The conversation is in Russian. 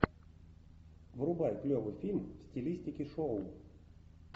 врубай клевый фильм в стилистике шоу